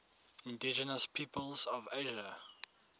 indigenous peoples of asia